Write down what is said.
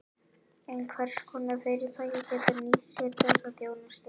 En hvers konar fyrirtæki geta nýtt sér þessa þjónustu?